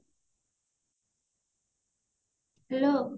hello